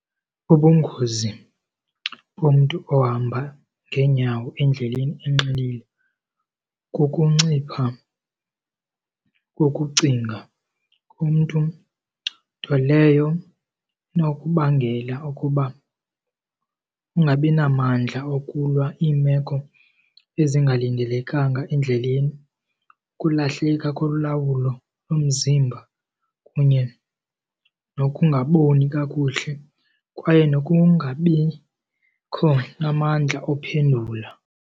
Ubungozi bomntu ohamba ngeenyawo endleleni enxilile kukuncipha kokucinga kumntu, nto leyo inokubangela ukuba ungabi namandla okulwa iimeko ezingalindelekanga endleleni, ukulahleke kolawulo lomzimba kunye nokungaboni kakuhle, kwaye nokungabikho namandla ophendula.